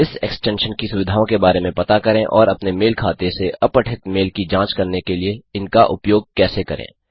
इस एक्सटेंशन की सुविधाओं के बारे में पता करें और अपने मेल खाते से अपठित मेल की जांच करने के लिए इनका उपयोग कैसे करें